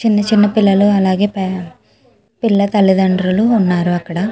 చిన్న చిన్న పిల్లు అలాగే పిల్లా తల్లి తండ్రులు ఉన్నారు.